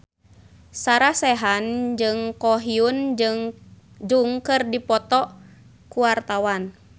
Sarah Sechan jeung Ko Hyun Jung keur dipoto ku wartawan